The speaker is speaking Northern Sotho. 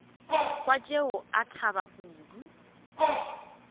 kwa tšeo a thaba kudu